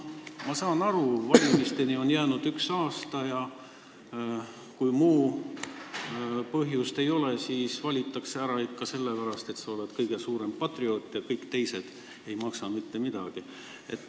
Ma saan aru, valimisteni on jäänud üks aasta, ja kui muud põhjust ei ole, siis valitakse ära sellepärast, et sa oled kõige suurem patrioot ja kõik teised ei maksa mitte midagi.